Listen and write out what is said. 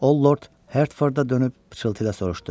O Lord Hertforda dönüb pıçıltı ilə soruşdu: